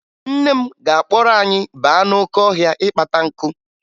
Nne m ga-akpọrọ anyị baa n'oke ọhịa ịkpata nkụ